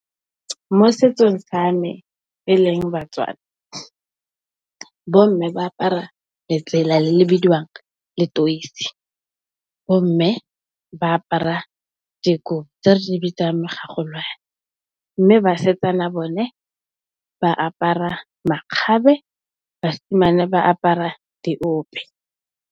Mo setsong sa me e leng Batswana bomme ba apara letsela le le bidiwang Letoisi, bomme ba apara dikobo tse re di bitsang Megagolwane. Mme, basetsana bone ba apara makgabe, basimane ba apara diope.